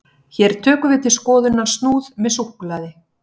hér tökum við til skoðunar snúð með súkkulaði